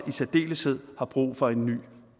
særdeleshed har brug for en ny